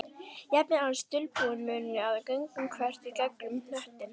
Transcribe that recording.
Jafnvel aðeins dulbúinn munni að göngum þvert í gegnum hnöttinn.